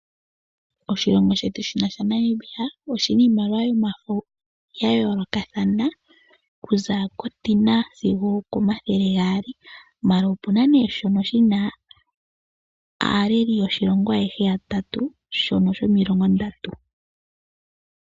Oshilongo shetu shaNamibia oshi na iimaliwa yomafo ga yoolokathana, okuza kooN$ 10 sigo okooN$ 200, ashike opu na nduno shono shi na aaleli yoshilongo ayehe yatatu, shono shomilongo N$30.